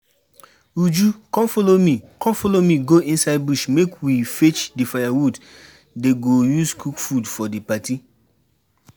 Uju come follow me come follow me go inside bush make we fetch the firewood dey go use cook food for the party